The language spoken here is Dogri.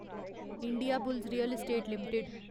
Indiabulls Real Estate limited